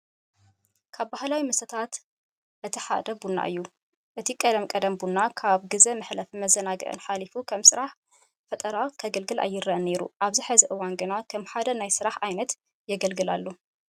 ካብ ባህላዊ መስተታትና እቲ ሓደ ቡና እዩ። እቲ ቀደም ቀደም ቡና ካብ ግዘ መሕለፍን መዘናግዕን ሓሊፉ ከም ስራሕ ፈጠራ ከገልግል ኣይረኣይን ነይሩ። ኣብዚ ሕዚ እዋን ግና ከም ሓደ ናይ ስራሕ ዓይነት የገልግል ኣሎ።